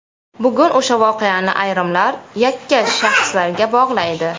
Bugun o‘sha voqeani ayrimlar yakkash shaxslarga bog‘laydi.